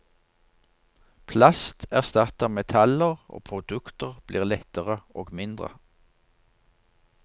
Plast erstatter metaller, og produkter blir lettere og mindre.